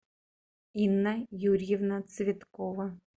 инна юрьевна цветкова